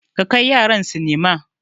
Ka kai yaran sinima.